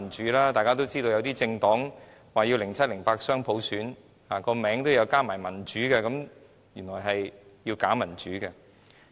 眾所周知，某政黨說要2007年、2008年雙普選，甚至政黨名稱也有"民主"二字，但原來是假民主。